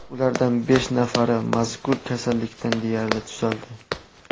Ulardan besh nafari mazkur kasallikdan deyarli tuzaldi .